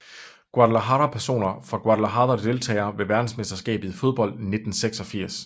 Guadalajara Personer fra Guadalajara Deltagere ved verdensmesterskabet i fodbold 1986